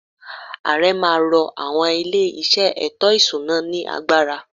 Ààrẹ má a ro àwọn ilé-iṣẹ́ ètò-ìṣúná ” ní agbára.